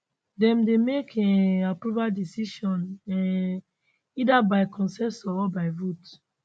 dem dey make um approval decision um either by consensus or by vote